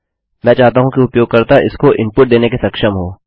मैं चाहता हूँ कि उपयोगकर्ता इसको इनपुट देने के सक्षम हो